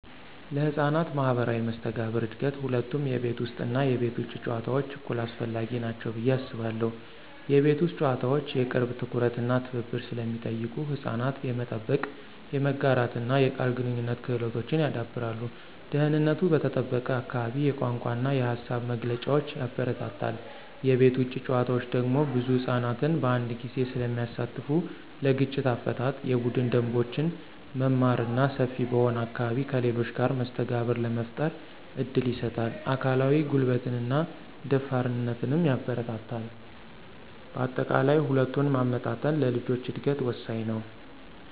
ለሕፃናት ማኅበራዊ መስተጋብር እድገት ሁለቱም የቤት ውስጥ እና የቤት ውጭ ጨዋታዎች እኩል አስፈላጊ ናቸው ብዬ አስባለሁ። የቤት ውስጥ ጨዋታዎች የቅርብ ትኩረት እና ትብብር ስለሚጠይቁ ሕፃናት የመጠበቅ፣ የመጋራትና የቃል ግንኙነት ክህሎቶችን ያዳብራሉ። ደህንነቱ በተጠበቀ አካባቢ የቋንቋ እና የሃሳብ መግለጫን ያበረታታል። የቤት ውጭ ጨዋታዎች ደግሞ ብዙ ሕፃናትን በአንድ ጊዜ ስለሚያሳትፉ ለግጭት አፈታት፣ የቡድን ደንቦችን መማር እና ሰፊ በሆነ አካባቢ ከሌሎች ጋር መስተጋብር ለመፍጠር እድል ይሰጣል። አካላዊ ጉልበትንና ደፋርነትንም ያበረታታል። በአጠቃላይ፣ ሁለቱን ማመጣጠን ለልጆች እድገት ወሳኝ ነው።